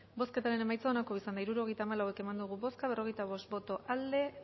bozketaren emaitza onako izan da hirurogeita hamalau eman dugu bozka berrogeita bost boto aldekoa